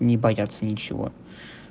не бояться нечего